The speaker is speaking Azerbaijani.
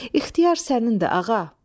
İxtiyar sənindir, ağa.